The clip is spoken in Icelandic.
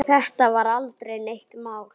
Þetta var aldrei neitt mál.